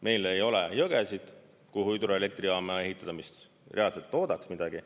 Meil ei ole jõgesid, kuhu hüdroelektrijaama ehitada, mis reaalselt toodaks midagi.